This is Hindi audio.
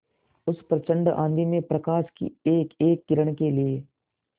उस प्रचंड आँधी में प्रकाश की एकएक किरण के लिए